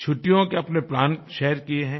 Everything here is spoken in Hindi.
छुट्टियों के अपने प्लान शेयर किये हैं